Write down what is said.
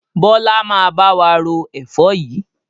Bọlá máa bá wa ro Ẹ̀fọ́ yìí